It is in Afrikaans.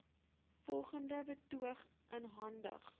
volgende betoog ingehandig